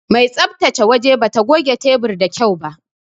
Mai tsabtace waje bata goge tebur da kyau ba.